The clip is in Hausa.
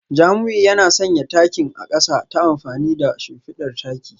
Jamiu yana sanya takin a kasa ta amfani da shimfidar taki